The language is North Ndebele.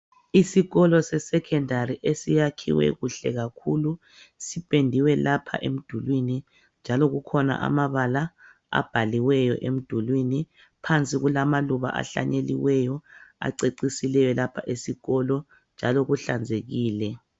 Isikolo se secondary esiyakhiwe kuhle kakhulu sipendiwe lapha emdulwini njalo kukhona amabala abhaliweyo emdulwini phansi kulamaluba ahlanyeliweyo acecisileyo lapha esikolo njalo kuhlanzekile.